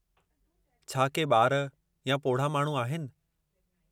छा के ॿार या पोढ़ा माण्हू आहिनि?